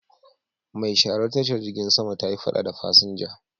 Mai sharar tashar jirgin sama ta yi fada da fasinja.